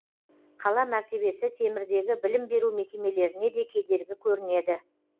қала мәртебесі темірдегі білім беру мекемелеріне де кедергі көрінеді